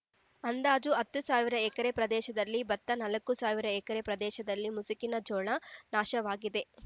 ಅಂದಾಜು ಹತ್ತು ಸಾವಿರ ಎಕರೆ ಪ್ರದೇಶದಲ್ಲಿ ಬತ್ತ ನಾಲ್ಕು ಸಾವಿರ ಎಕರೆ ಪ್ರದೇಶದಲ್ಲಿ ಮುಸುಕಿನ ಜೋಳ ನಾಶವಾಗಿದೆ